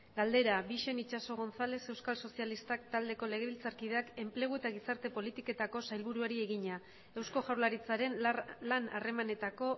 galdera bixen itxaso gonzález euskal sozialistak taldeko legebiltzarkideak enplegu eta gizarte politiketako sailburuari egina eusko jaurlaritzaren lan harremanetako